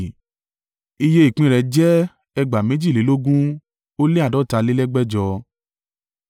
Iye ìpín rẹ̀ jẹ́ ẹgbàá méjìlélógún ó lé àádọ́talélẹ́gbẹ̀jọ (45,650).